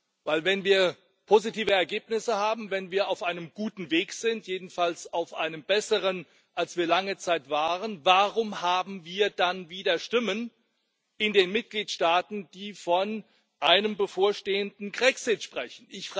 Denn wenn wir positive Ergebnisse haben, wenn wir auf einem guten Weg sind jedenfalls auf einem besseren, als wir lange Zeit waren warum haben wir dann wieder Stimmen in den Mitgliedstaaten, die von einem bevorstehenden Grexit sprechen?